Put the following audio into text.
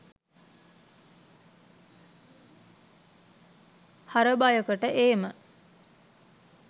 හරබයකට ඒම